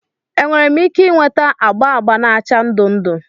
Enwere m ike ị nweta agba agba na acha ndụ ndụ?